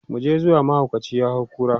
muje zuwa! mahaukaci ya hay kura